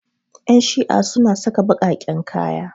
Ƴan shi'a suna saka baƙaƙen kaya.